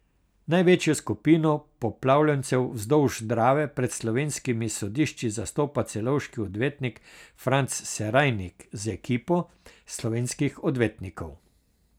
Največjo skupino poplavljencev vzdolž Drave pred slovenskimi sodišči zastopa celovški odvetnik Franz Serajnik z ekipo slovenskih odvetnikov.